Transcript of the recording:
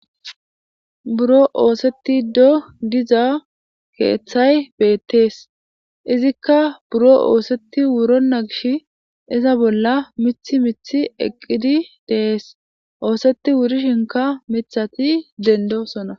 buro ooseti do diza keeththay beettees izikka buro ooseti wuronna gish iza bolla mithi mithi eqqidi dees ooseti wuri shinka mithati dendo sona